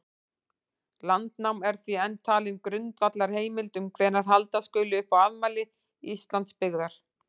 Landnáma er því enn talin grundvallarheimild um hvenær halda skuli upp á afmæli Íslandsbyggðar.